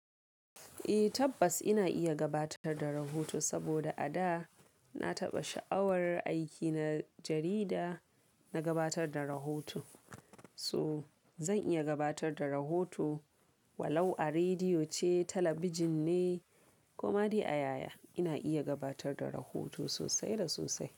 Eh tabbas ina iya gabatar da rahoto saboda a da na taɓa sha'awar aiki na jarida, na gabatar da rahoto. To zan iya gabatar da rahoto, walau a rediyo ce, talabijin ne ko ma dai a yaya ina iya gabatar da rahoto sosai da sosai.